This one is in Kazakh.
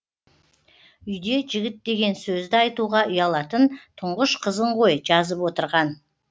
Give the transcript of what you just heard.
үйде жігіт деген сөзді айтуға ұялатын тұңғыш қызың ғой жазып отырған